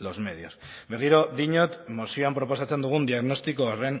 los medios berriro diot mozioan proposatzen dugun diagnostiko horren